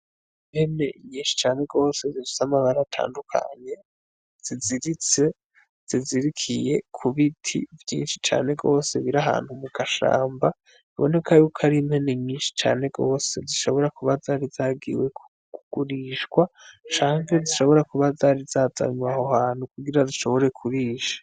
Impene nyinshi cane gose zissa amabara atandukanye ziziritse zizirikiye ku b iti vyinshi cane gose birahantu mu gashamba biboneka yuko ari impene myinshi cane gose zishobora kuba zari zagiwe kugurishwa canke zishobora kuba zari zazamubahohantuku chobore kurisha.